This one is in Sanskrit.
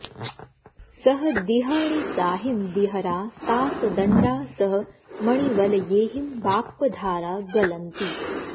सह दिअहणिसाहिं दीहरा सासदण्डा सह मणिवलयेहिं बाप्पधारा गलन्ति